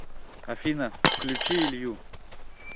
афина включи илью